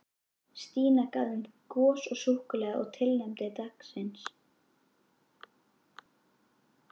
Stína gaf þeim gos og súkkulaði í tilefni dagsins.